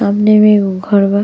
सामने में एगो घर बा।